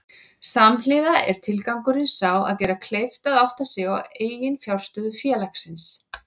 Samhliða er tilgangurinn sá að gera kleift að átta sig á eiginfjárstöðu félagsins.